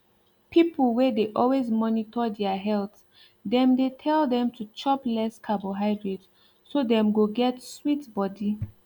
people wey de always monitor their health dem dey tell them to chop less carbohydrate so dem go get sweet body